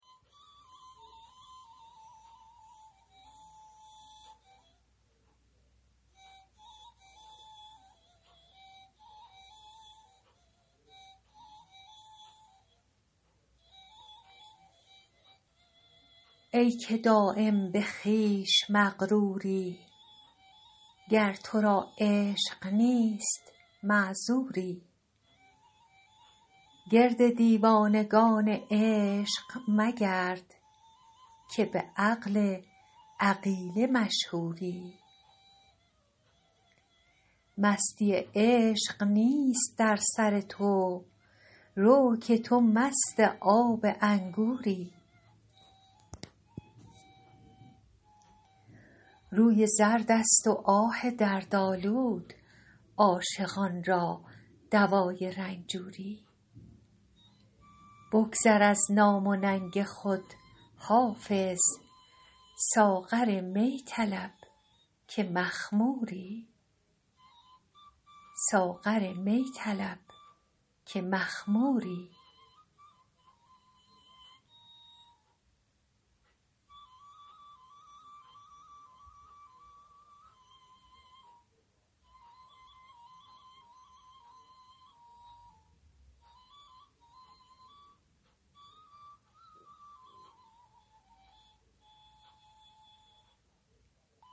ای که دایم به خویش مغروری گر تو را عشق نیست معذوری گرد دیوانگان عشق مگرد که به عقل عقیله مشهوری مستی عشق نیست در سر تو رو که تو مست آب انگوری روی زرد است و آه دردآلود عاشقان را دوای رنجوری بگذر از نام و ننگ خود حافظ ساغر می طلب که مخموری